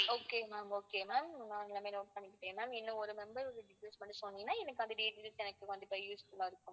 okay ma'am okay ma'am நான் எல்லாமே note பண்ணிக்கிட்டேன் ma'am இன்னும் ஓரு number பண்ணி சொன்னிங்கன்னா எனக்கு கண்டிப்பா useful ஆ இருக்குங்க